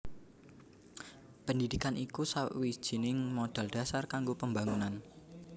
Pendidikan iku sawijining modal dhasar kanggo pembangunan